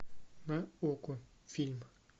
на окко фильм